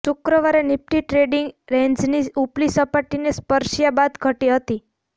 શુક્રવારે Nifty trading રેન્જની ઊપલી સપાટીને સ્પર્શ્યાં બાદ ઘટી હતી